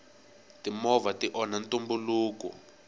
timovha ti onha ntumbuluko